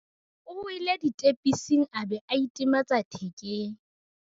o wele ditepising a be a itematsa thekeng